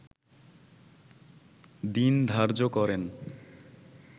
দিন ধার্য করেন